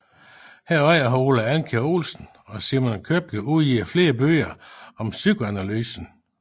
Herunder har Ole Andkjær Olsen og Simo Køppe udgivet flere bøger om psykoanalysen